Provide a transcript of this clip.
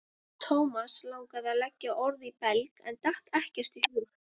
Thomas langaði að leggja orð í belg en datt ekkert í hug.